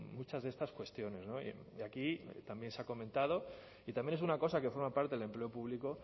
muchas de estas cuestiones y aquí también se ha comentado y también es una cosa que forma parte del empleo público